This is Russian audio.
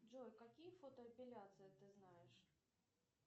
джой какие фотоэпиляции ты знаешь